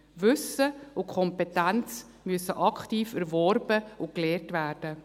Wissen und Kompetenz müssen aktiv erworben und erlernt werden.